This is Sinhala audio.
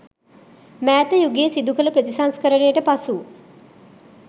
මෑත යුගයේ සිදු කළ ප්‍රතිසංස්කරණයට පසු